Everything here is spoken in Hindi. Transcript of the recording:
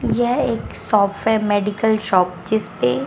यह एक शॉफ है मेडिकल शॉप जिस पे--